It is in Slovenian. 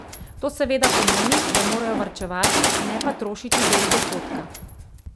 To seveda pomeni, da morajo varčevati, ne pa trošiti del dohodka.